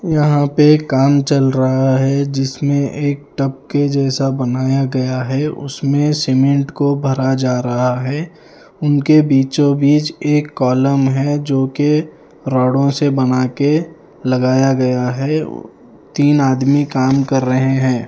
यहां पे काम चल रहा है जिसमें एक टप के जैसा बनाया गया है उसमें सीमेंट को भरा जा रहा है उनके बीचों बीच एक कॉलम है जो कि रोड़ों से बना के लगाया गया है तीन आदमी काम कर रहे हैं।